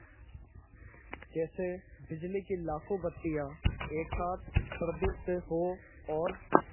जैसे बिजली की लाखों बत्तियाँ एक साथ प्रदीप्त हों और